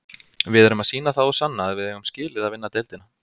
Við erum að sýna það og sanna að við eigum skilið að vinna deildina.